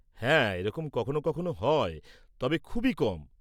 হ্যাঁ, এরকম কখনো কখনো হয়, তবে খুবই কম।